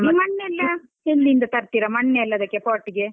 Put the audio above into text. ಈ ಮಣ್ಣೆಲ್ಲ ಎಲ್ಲಿಂದ ತರ್ತಿರಾ ಮಣ್ಣೆಲ್ಲ ಅದಿಕ್ಕೆ pot ಗೆ?